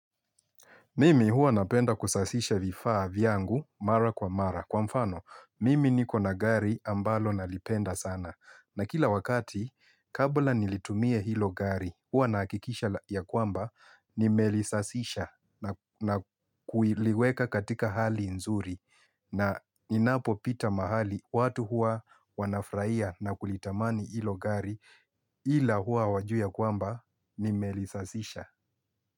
Mimi hua napenda kusafisha vifaa vyangu mara kwa mara. Kwa mfano, mimi niko na gari ambalo nalipenda sana. Na kila wakati, kabla nilitumie hilo gari, hua nahakikisha ya kwamba ni melisafisha na kuliweka katika hali nzuri. Na ninapo pita mahali, watu hua wanafurahia na kulitamani hilo gari ila hua hawajui ya kwamba nimelisafisha.